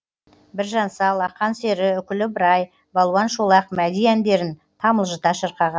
біржан сал ақан сері үкілі ыбырай балуан шолақ мәди әндерін тамылжыта шырқаған